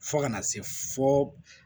Fo kana se fɔ